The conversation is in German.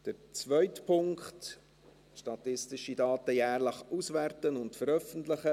Zum zweiten Punkt, es seien statistische Daten auszuwerten und jährlich zu veröffentlichen: